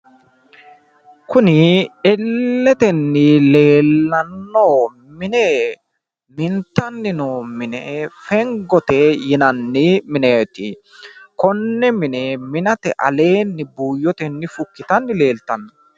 kuni illetenni leellanno mine mintanni no mine fengote yinanni mineeteti konne mine minate aleenni buuyyotenni fukkitanni leeltanno.